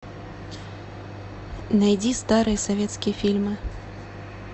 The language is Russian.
найди старые советские фильмы